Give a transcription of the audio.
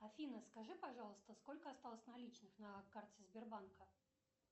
афина скажи пожалуйста сколько осталось наличных на карте сбербанка